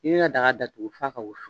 I bi ka daga datugu fɔ a ka wusu.